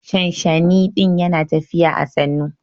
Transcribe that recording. Shanshani din Yana tafiya à sannu.